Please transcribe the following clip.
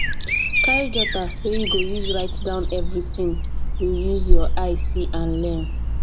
carry jotter wey you go use write down everything you use your eye see and learn